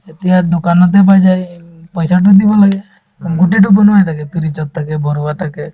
এতিয়া দোকানতে পাই যায় এই উম পইচাতো দিব লাগে উম গোটেইতো বনোৱা হৈ থাকে fridge ত থাকে ভৰোৱা থাকে